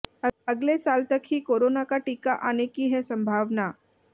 अगले साल तक ही कोरोना का टीका आने की है संभावना